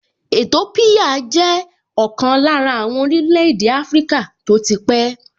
Ètópíyà jẹ́ ọ̀kan lára àwọn orílẹ̀-èdè áfríkà tó ti pẹ́